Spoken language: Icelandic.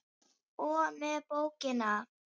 og með bókina!